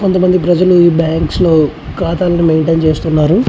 కొంత మంది ప్రజలు ఈ బ్యాంక్స్ లో కాథా ను మంటైన్ చేస్తున్నారు.